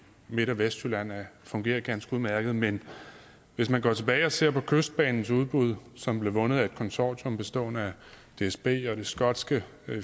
midt og vestjylland fungerer ganske udmærket men hvis man går tilbage og ser på kystbanens udbud som blev vundet af et konsortium bestående af dsb og det skotske